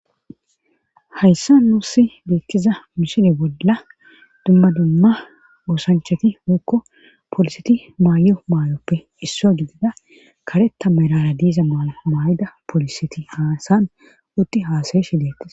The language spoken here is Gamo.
hayssa nuussi deettiza misine bolla dumma dumma oosanchati huokko poliseti maayo maayoppe isso gidida karetta marara diiza maayo maayida poliseti haysan utti haasayeshe deettes